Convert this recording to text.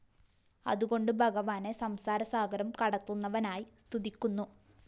അതുകൊണ്ടു ഭഗവാനെ സംസാരസാഗരം കടത്തുന്നവനായി സ്തുതിക്കുന്നു